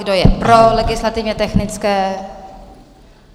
Kdo je pro legislativně technické?